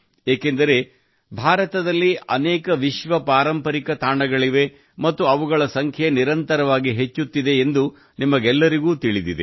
ಏಕೆಂದರೆ ಭಾರತದಲ್ಲಿ ಅನೇಕ ವಿಶ್ವ ಪಾರಂಪರಿಕ ತಾಣಗಳಿವೆ ಮತ್ತು ಅವುಗಳ ಸಂಖ್ಯೆ ನಿರಂತರವಾಗಿ ಹೆಚ್ಚುತ್ತಿದೆ ಎಂದು ನಿಮಗೆಲ್ಲರಿಗೂ ತಿಳಿದಿದೆ